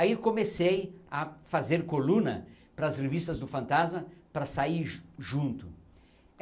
Aí comecei a fazer coluna para as revistas do Fantasma para sair ju junto.